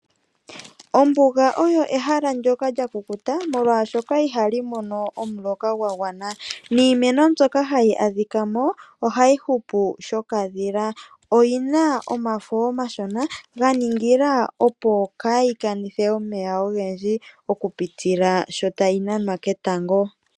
Ombuga oyo ehala ndjoka lyakukuta molwaashoka ihali mono omuloka gwagwana, niimeno mbyoka hayi adhikamo ohayi hupu shokadhila. Oyina omafo omashona ganingila opo kayii kanithe omeya ogendji okupitila sho tayi nanwa ketango.